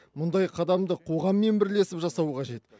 мұндай қадамды қоғаммен бірлесіп жасау қажет